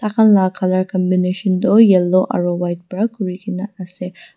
la colour combination du yellow aro white pra kurigina asey.